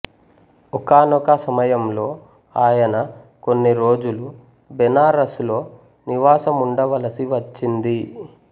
ఒకానొక సమయంలో ఆయన కొన్ని రోజులు బెనారస్ లో నివాసముండవలసి వచ్చింది